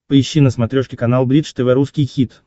поищи на смотрешке канал бридж тв русский хит